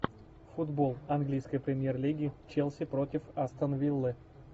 футбол английской премьер лиги челси против астон виллы